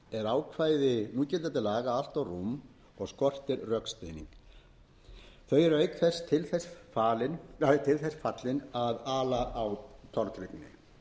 er ákvæði núgildandi laga allt rúm og skortir rökstuðning þau er auk þess til þess fallin að ala á tortryggni samkvæmt